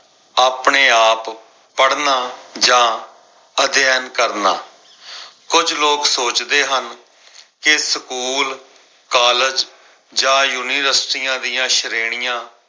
ਆਪਣੇ ਆਪ ਪੜਨਾ ਜਾਂ ਅਧਿਐਨ ਕਰਨਾ। ਕੁਝ ਲੋਗ ਸੋਚਦੇ ਹਨ ਕੇ ਸਕੂਲ, ਕਾਲਜ ਜਾਂ ਯੂਨੀਵਰਸਿਟੀਆਂ ਦੀਆਂ ਸ਼੍ਰੇਣੀਆਂ